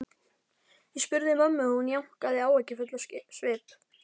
Ég spurði mömmu og hún jánkaði, áhyggjufull á svip.